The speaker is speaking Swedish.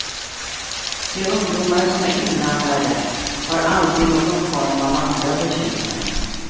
De ungdomar som är inblandade har alltid någon form av andra bekymmer.